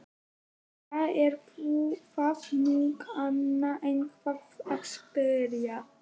Hvað er það nú, kann einhver að spyrja.